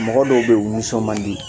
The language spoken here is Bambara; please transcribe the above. Mɔgɔ dɔw bɛ yen u nisɔn mandi